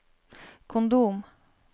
kondom